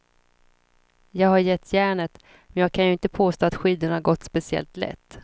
Jag har gett järnet, men jag kan ju inte påstå att skidorna gått speciellt lätt.